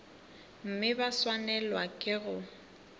mme ba swanelwa ke go